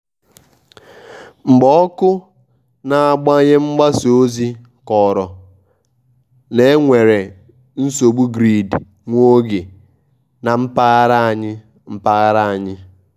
mgbe ọkụ na-agbanye mgbasa ozi kọrọ na enwere nsogbu grid nwa oge na mpaghara anyị. mpaghara anyị.